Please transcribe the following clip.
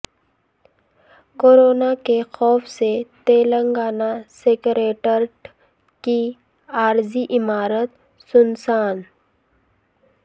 corona کے خوف سے تلنگانہ سکریٹریٹ کی عارضی عمارت سنسان